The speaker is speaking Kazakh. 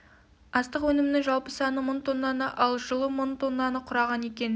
астық өнімдерінің жалпы саны мың тоннаны ал жылы мың тоннаны құраған екен